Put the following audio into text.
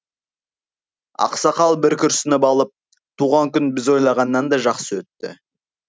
ақсақал бір күрсініп алып туған күн біз ойлағаннан да жақсы өтті